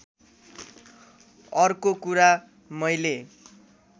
अर्को कुरा मैले